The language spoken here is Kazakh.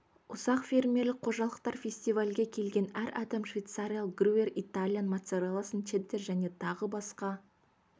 ұсақ фермерлік қожалықтар фестивальге келген әр адам швейцариялық грюер итальян моцарелласын чеддер және тағы басқа